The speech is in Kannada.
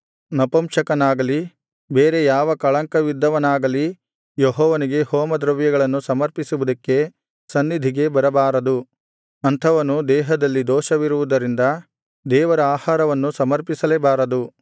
ನಪುಂಸಕನಾಗಲಿ ಬೇರೆ ಯಾವ ಕಳಂಕವಿದ್ದವನಾಗಲಿ ಯೆಹೋವನಿಗೆ ಹೋಮದ್ರವ್ಯಗಳನ್ನು ಸಮರ್ಪಿಸುವುದಕ್ಕೆ ಸನ್ನಿಧಿಗೆ ಬರಬಾರದು ಅಂಥವನು ದೇಹದಲ್ಲಿ ದೋಷವಿರುವುದರಿಂದ ದೇವರ ಆಹಾರವನ್ನು ಸಮರ್ಪಿಸಲೇಬಾರದು